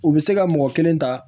U bɛ se ka mɔgɔ kelen ta